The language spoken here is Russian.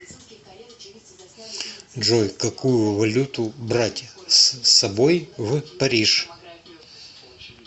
джой какую валюту брать с собой в париж